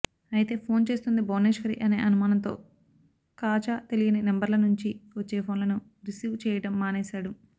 అయితే ఫోన్ చేస్తోంది భువనేశ్వరి అనే అనుమానంతో ఖాజా తెలియని నెంబర్ల నుంచి వచ్చే ఫోన్లును రిసివ్ చెయ్యడం మానేశాడు